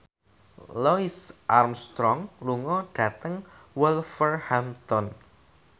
Louis Armstrong lunga dhateng Wolverhampton